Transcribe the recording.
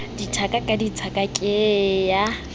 dithaka ka dithaka ke ya